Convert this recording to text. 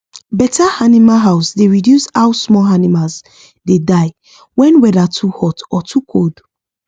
better animal house dey reduce how small animals dey die when weather too hot or too cold